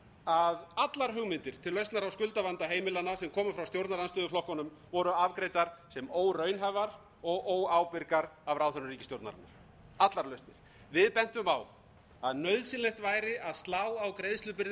að allar hugmyndir til lausnar á skuldavanda heimilanna sem komu frá stjórnarandstöðuflokkunum voru afgreiddar sem óraunhæfar og óábyrgar af ráðherrum ríkisstjórnarinnar allar lausnir við bentum a að nauðsynlegt væri að slá á greiðslubyrði